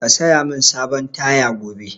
Ka saya mun sabon taya gobe!